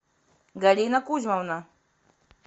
галина кузьмовна